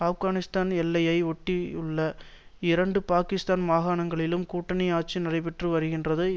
ஆப்கானிஸ்தான் எல்லையை ஒட்டியுள்ள இரண்டு பாகிஸ்தான் மாகாணங்களிலும் கூட்டணி ஆட்சி நடைபெற்று வருகின்றது